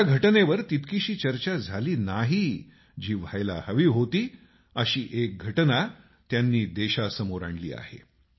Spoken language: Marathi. ज्या घटनेवर तितकीशी चर्चा झाली नाही जी व्हायला हवी होती अशी एक घटना त्यांनी देशासमोर आणली आहे